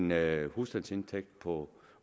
med en husstandsindtægt på